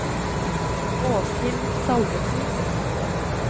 Åshild Salvesen